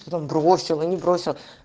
что там бросил и не бросил